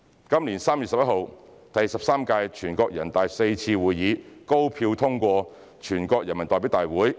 今年3月11日，第十三屆全國人大四次會議高票通過《決定》。